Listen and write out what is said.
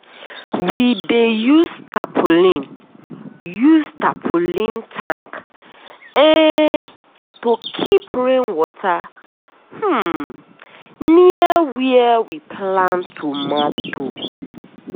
we dey use tapulin use tapulin tank um to keep rain water um near where we plant tomato.